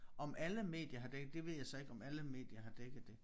Om alle medier har dækket det ved jeg så ikke om alle medier har dækket det